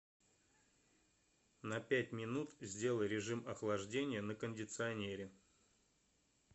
на пять минут сделай режим охлаждения на кондиционере